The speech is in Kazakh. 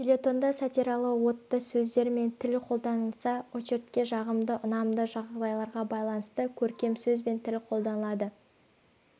фельетонда сатиралы уытты сөздер мен тіл қолданылса очеркте жағымды ұнамды жайларға байланысты көркем сөз бен тіл қолданылады